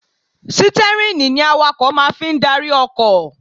Sítẹ́rìnì awakọ̀ máa fi ń darí ọkọ̀